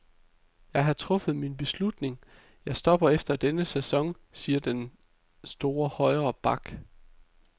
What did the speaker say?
Jeg har truffet min beslutning, jeg stopper efter denne sæson, siger den store højre back.